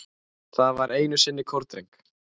Það var einu sinni kórdreng